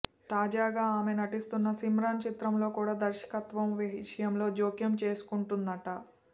తాజాగా ఆమె నటిస్తున్న సిమ్రాన్ చిత్రంలో కుడా దర్శకత్వం విషయంలో జోక్యం చేసుకుంటుందంట